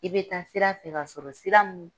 I be taa sira fɛ ka sɔrɔ sira min